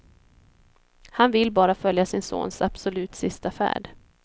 Han vill bara följa sin sons absolut sista färd.